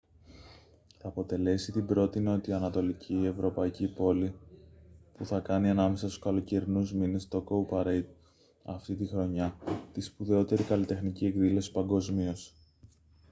θα αποτελέσει την πρώτη νοτιοανατολική ευρωπαϊκή πόλη που θα κάνει ανάμεσα στους καλοκαιρινούς μήνες το cowparade αυτήν τη χρονιά τη σπουδαιότερη καλλιτεχνική εκδήλωση παγκοσμίως